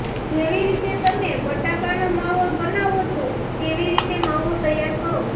જેવી રીતે તમે બટાકાનો માવો બનાવો છો તેવી રીતે માવો તૈયાર કરો